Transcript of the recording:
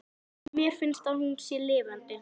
Og mér finnst að hún sé lifandi.